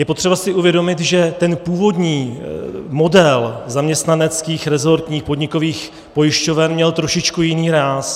Je potřeba si uvědomit, že ten původní model zaměstnaneckých, rezortních, podnikových pojišťoven měl trošičku jiný ráz.